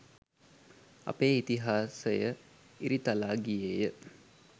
අපේ ඉතිහාසය ඉරිතලා ගියේය.